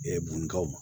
bunukaw ma